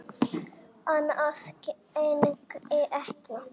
Annað gengi ekki.